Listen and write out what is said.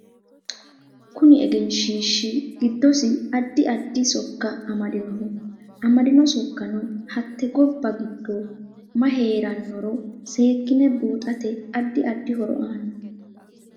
Koni egenshiishi giddosi addi addi sokka amadinoho amadino sokkano hatte gobba giddo mayi heeranoro seekine buuxate addi addi horo aano